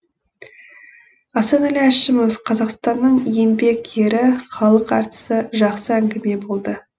асанәлі әшімов қазақстанның еңбек ері халық әртісі жақсы әнгіме болды